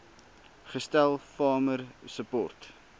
gestel farmer support